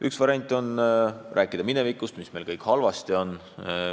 Üks variant on rääkida minevikust, sellest, mis meil kõik halvasti on.